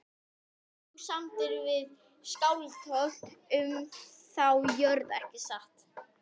Þú samdir við Skálholt um þá jörð ekki satt?